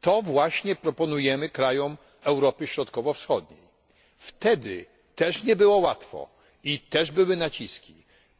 To właśnie proponujemy krajom Europy Środkowo Wschodniej. Wtedy też nie było łatwo i też były naciski.